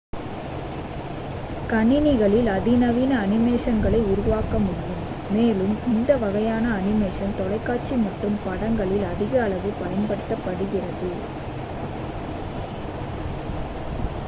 கணினிகளில் அதிநவீன அனிமேஷன்களை உருவாக்க முடியும் மேலும் இந்த வகையான அனிமேஷன் தொலைக்காட்சி மற்றும் படங்களில் அதிகளவில் பயன்படுத்தப்படுகிறது